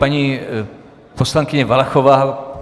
Paní poslankyně Valachová.